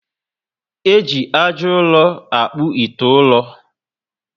Eji ájá ụrọ akpu ite ụrọ